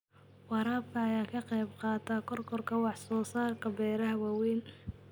Waraabka ayaa ka qayb qaata kororka wax soo saarka beeraha waaweyn.